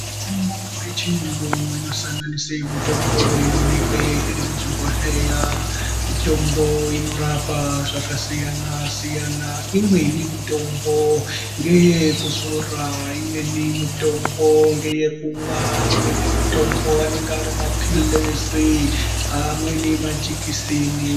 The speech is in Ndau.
Mitombo yechiyungu inosanganise mutombo inoonekwe iri muzvigohleya mitombo inorapa zvakasiyana siyana. Imweni mutombo ngeyekuzora, imweni mutombo ngeyekumwa, imweni mutombo anenge ari maphirizi amweni majikisini.